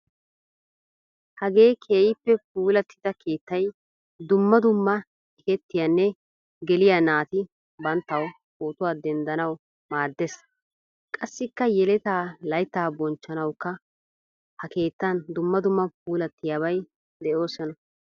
Hagee keehippe puulattida keettaay dumma dumma ekkettiyanne geliyaa naati banttawu pootuwaa denddanawu maaddees. Qassikka yeleta laytta bonchchanawukka ha keettan dumma dumma puulattidabay deosona.